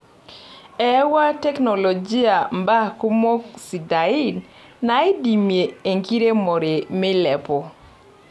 Eyawua teknolojia mbaa kumok sidai naidimie enkiremore meilepu.